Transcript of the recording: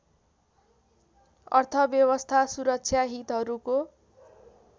अर्थव्यवस्था सुरक्षा हितहरूको